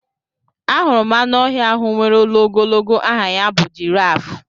Ahụrụ m anụ ọhịa ahụ nwèrè olu ogologo aha ya bụ jiraaf.